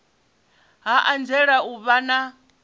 ha anzela u vha na